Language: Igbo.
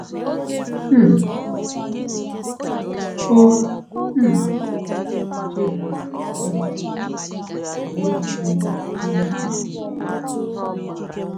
um O um chebara ya echiche, wee were ozi dị n’ime ya n’obi.